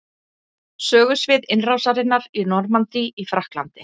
Sögusvið innrásarinnar í Normandí í Frakklandi.